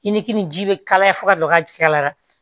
I ni kini ji bɛ kalaya fo ka don a ka jigiya la